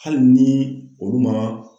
Hali ni olu ma